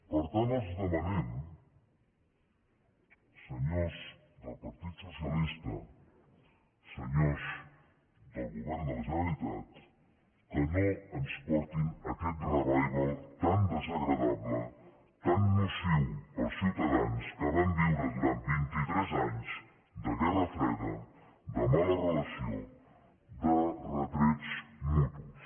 per tant els demanem senyors del partit socialista senyors del govern de la generalitat que no ens portin a aquest revival tan desagradable tan nociu per als ciutadans que van viure durant vint i tres anys de guerra freda de mala relació de retrets mutus